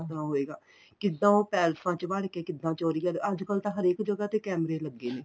ਕਿਸ ਤਰ੍ਹਾਂ ਹੋਏਗਾ ਕਿੱਦਾ ਉਹ ਪੈਲਸਾਂ ਵਿੱਚ ਵੜਕੇ ਕਿੱਦਾਂ ਚੋਰੀਆਂ ਅੱਜ ਕੱਲ ਹਰੇਕ ਜਗਾਂ ਤੇ ਕੈਮਰੇ ਲੱਗੇ ਨੇ